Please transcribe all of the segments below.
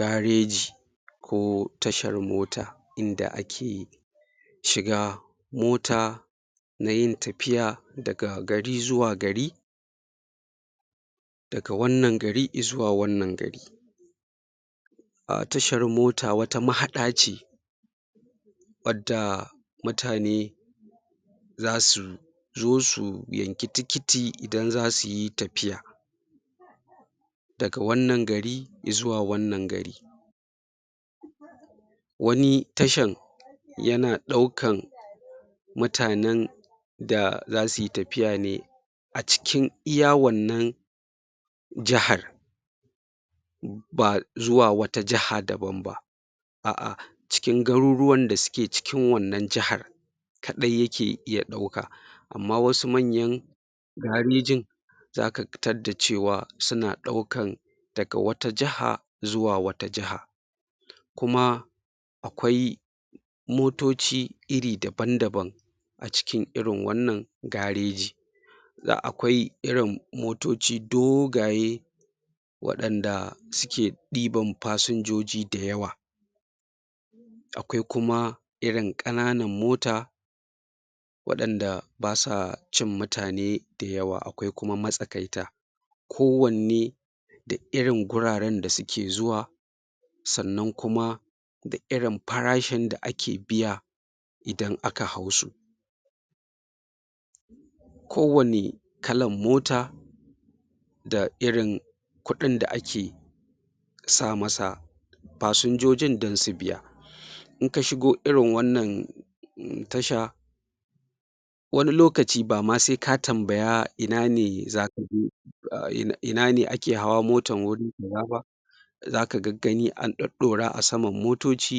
Gareji ko tashar mota inda ake shiga mota na yin tafiya daga gari zuwa gari daga wannan gari izuwa wannan gari a tashar mota wata mahaɗa ce wadda mutane za su zo su yanki tikiti idan za su yi tafiya daga wannan gari izuwa wannan gari wani tashan yana ɗaukan mutanen da za su yi tafiya ne a cikin iya wannan jahar ba zuwa wata jaha daban a'a cikin garuruwan da suke cikin wannan jahar kaɗai yake iya ɗauka amma wasu manyan garejin zaka tadda cewa suna ɗaukan daga wata jaha zuwa wata jaha kuma akwai motoci iri daban-daban a cikin irin wannan gareji da akwai irin motoci dogaye waɗanda suke ɗiban fasinjoji dayawa akwai kuma irin ƙananan mota waɗanda ba sa cin mutane dayawa akwai kuma matsakaita kowanne irin guraren da suke zuwa sannan kuma da irin farashin da ake biya idan aka hau su kowane kalan mota da irin kuɗin da ake sa masa fasinjojin dan su biya in ka shigo irin wannan um tasha wani lokaci ba ma se ka tambaya ina ne zaka je um ina ne ake hawa motan wuri kaza ba zaka gaggani an ɗoɗɗora a saman motoci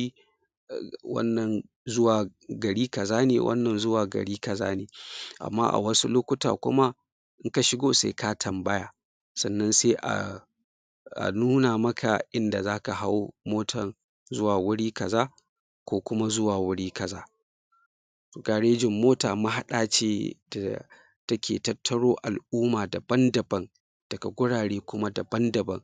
wannan zuwa gari kaza ne wannan zuwa gari kaza ne amma a wasu lokuta kuma in ka shigo sai ka tambaya sannan se a a nuna maka inda zaka hau motan zuwa wuri kaza ko kuma zuwa wuri kaza garejin mota mahaɗa ce ta take tattaro al'uma daban-daban daga gurare kuma daban-daban